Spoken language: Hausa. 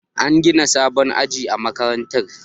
An gina sabon aji a makarantar